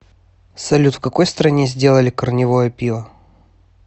салют в какой стране сделали корневое пиво